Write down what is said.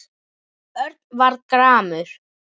Örn varð gramur.